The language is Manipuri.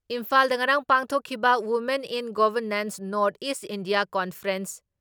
ꯏꯝꯐꯥꯜꯗ ꯉꯔꯥꯡ ꯄꯥꯡꯊꯣꯛꯈꯤꯕ women in governance north east India conference